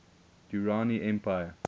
durrani empire